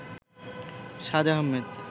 সাজ আহমেদ